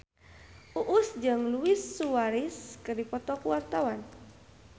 Uus jeung Luis Suarez keur dipoto ku wartawan